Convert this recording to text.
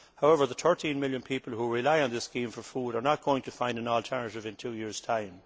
However, the 13 million people who rely on this scheme for food are not going to find an alternative in two years' time.